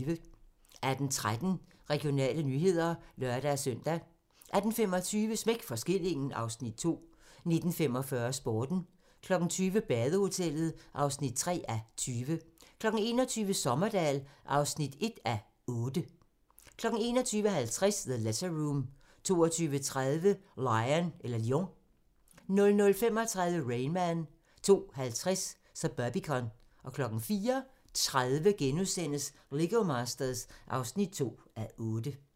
18:13: Regionale nyheder (lør-søn) 18:25: Smæk for skillingen (Afs. 2) 19:45: Sporten 20:00: Badehotellet (3:20) 21:00: Sommerdahl (1:8) 21:50: The Letter Room 22:30: Lion 00:35: Rain Man 02:50: Suburbicon 04:30: Lego Masters (2:8)*